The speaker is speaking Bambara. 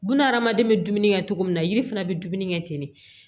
Buna hadamaden bɛ dumuni kɛ cogo min na yiri fana bɛ dumuni kɛ ten de